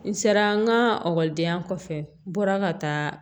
N sera n ka ekɔlidenya kɔfɛ n bɔra ka taa